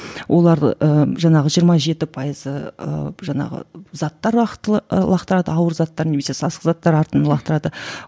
олар ы жаңағы жиырма жеті пайызы ыыы жаңағы заттар лақтырады ауыр заттар немесе сасық заттар артынын лақтырады